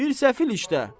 Bir səfil işdə.